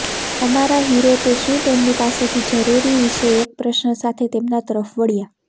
અમારા હીરો તે શું તેમની પાસેથી જરૂરી વિશે એક પ્રશ્ન સાથે તેમના તરફ વળ્યા